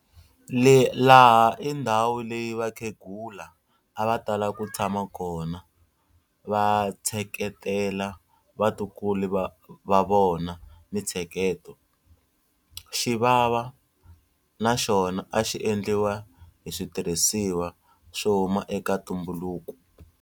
Laha i ndhawu leyi vakheghula a va tala ku tshama kona va tsheketela vatukulu va vona mitsheketo. Xivava na xona a xi endliwa hi switirhisiwa swo huma eka ntumbuluko.